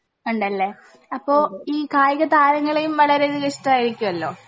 ഇണ്ടല്ലേ അപ്പൊ ഈ കായിക താരങ്ങളേം വളരെ ഇഷ്ട്ടായിരിക്കോലോ